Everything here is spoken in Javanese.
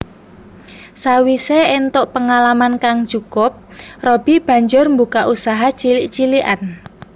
Sawisé éntuk pengalaman kang cukup Robby banjur mbukak usaha cilik cilikan